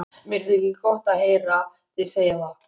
Mér þykir gott að heyra þig segja það.